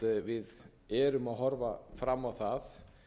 við erum að horfa fram á það